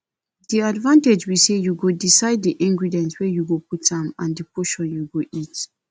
di advantage be say you go decide di ingredients wey you go put am and di portion you go eat